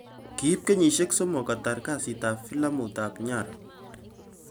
Kiip kenyisiek somok ketaar kasiit ap filamut ap 'Nyara'